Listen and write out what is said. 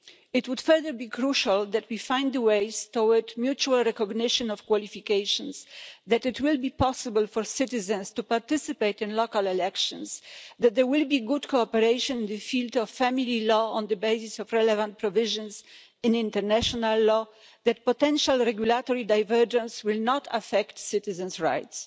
It will, further, be crucial that we find a way towards mutual recognition of qualifications, that it will be possible for citizens to participate in local elections, that there will be good cooperation in the field of family law on the basis of relevant provisions in international law and that potential regulatory divergence will not affect citizens' rights.